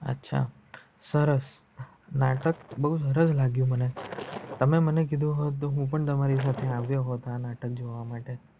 અચ્છા સરસ નાટક બો સરસ લગિયું મને તમે મને કીધું હોત તો હું પણ આવત તમારી જોડે નાટક જોવા માટે.